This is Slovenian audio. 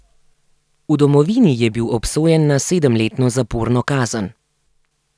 V domovini je bil obsojen na sedemletno zaporno kazen.